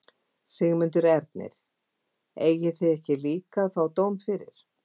Sigmundur Ernir: Eigið þið ekki líka að fá dóm fyrir?